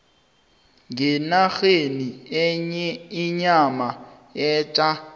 ngenarheni inyama etja